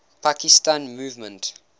pakistan movement